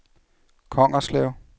Kongerslev